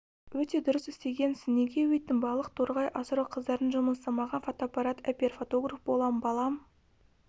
өте дұрыс істегенсің неге өйттің балық торғай асырау қыздардың жұмысы маған фотоаппарат әпер фотограф болам балам